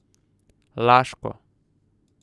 Laško.